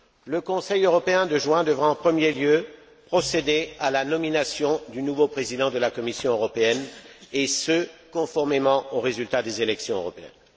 Le Conseil européen de juin devra en premier lieu procéder à la nomination du nouveau Président de la Commission européenne et ce, conformément aux résultats des élections européennes.